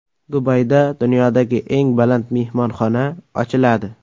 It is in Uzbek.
Dubayda dunyodagi eng baland mehmonxona ochiladi.